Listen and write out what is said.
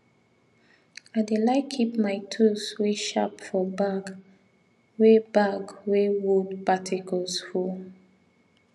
i dey like keep my tools wey sharp for bag wey bag wey wood particles full